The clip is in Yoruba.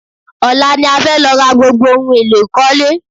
Ọ̀la ni a fẹ́ lọ ra gbogbo ohun èlò ìkọ́lé.